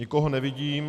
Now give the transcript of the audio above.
Nikoho nevidím.